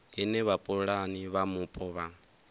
ine vhapulani vha mupo vha